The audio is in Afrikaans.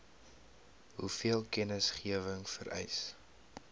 hoeveel kennisgewing vereis